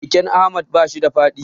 Keken Ahmad bashi da feda.